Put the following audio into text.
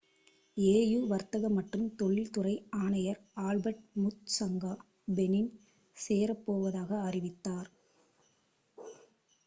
au வர்த்தக மற்றும் தொழில்துறை ஆணையர் ஆல்பர்ட் முச்சங்கா பெனின் சேரப்போவதாக அறிவித்தார்